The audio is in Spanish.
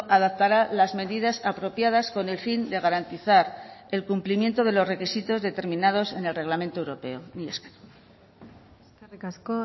adaptará las medidas apropiadas con el fin de garantizar el cumplimiento de los requisitos determinados en el reglamento europeo mila esker eskerrik asko